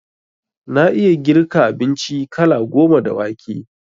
Na iya girka abinci kala goma da wake